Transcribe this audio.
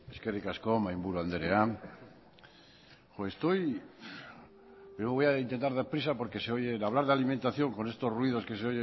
eskerrik asko mahai burua anderea me voy a intentar dar prisa porque se oye de hablar de alimentación con estos ruidos que se